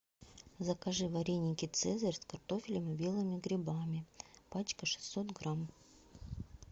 закажи вареники цезарь с картофелем и белыми грибами пачка шестьсот грамм